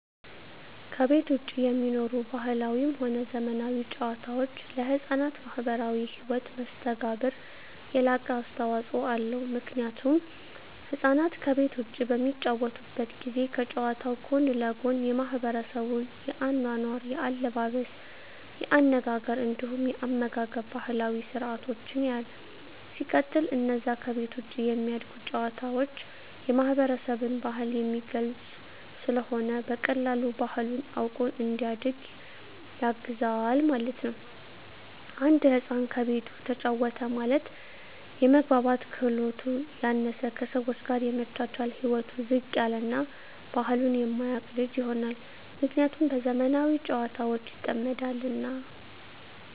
ከቤት ዉጪ የሚኖሩ ባህላዊም ሆነ ዘመናዊ ጨዋታወች ለሕፃናት ማህበራዊ ህይወት መስተጋብር የላቀ አስተዋጾ አለዉ ምክንያቱም ህፃናት ከቤት ዉጪ በሚጫወቱበት ጊዜ ከጨዋታዉ ጎን ለጎን የማሕበረሰቡን የአኗኗር፣ የአለባበስ፤ የአነጋገር እንዲሁም የአመጋገብ ባህላዊ ስርአቶችን ያያል። ሲቀጥል አነዛ ከቤት ዉጪ የሚደረጉ ጨዋታወች የማህበረሰብን ባህል የሚገልጽ ስለሆነ በቀላሉ ባህሉን አዉቆ እንዲያድግ ያግዘዋል ማለት ነዉ። አንድ ህፃን ከቤቱ ተጫወተ ማለት የመግባባት ክህሎቱ ያነሰ፣ ከሰወች ጋር የመቻቻል ህይወቱ ዝቅ ያለ እና ባህሉን የማያቅ ልጅ ይሆናል። ምክንያቱም በዘመናዊ ጨዋታወች ይጠመዳልና።